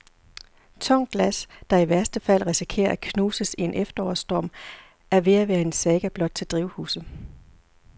Tungt glas, der i værste fald risikerer at knuses i en efterårsstorm, er ved at være en saga blot til drivhuse.